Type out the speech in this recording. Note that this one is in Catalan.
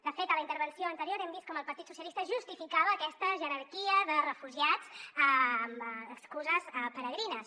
de fet a la intervenció anterior hem vist com el partit socialistes justificava aquesta jerarquia de refugiats amb excuses peregrines